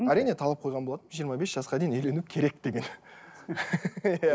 әрине талап қойған болатынмын жиырма бес жасқа дейін үйлену керек деген иә